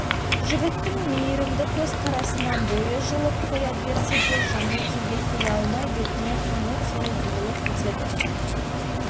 жігіттің мейірімді көзқарасынан бойы жылып қоя берсе де жаңыл тілге келе алмай бетіне қаны теуіп бұрылып кетеді